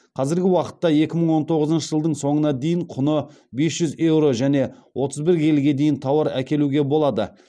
қазіргі уақытта екі мың он тоғызыншы жылдың соңына дейін құны бес жүз еуро және отыз бір келіге дейін тауар әкелуге болады